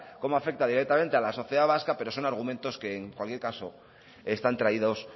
cómo afecta directamente a la sociedad vasca peros son argumentos que en cualquier caso están traídos